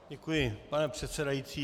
Děkuji, pane předsedající.